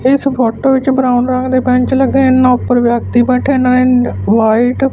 ਇਸ ਫੋਟੋ ਵਿੱਚ ਬਣਾਉਣ ਰੰਗ ਦੇ ਬੈਂਚ ਲੱਗੇਅਨ ਇਨਾ ਉੱਪਰ ਵਿਅਕਤੀ ਬੈਠੇਅਨ ਵਾਈਟ --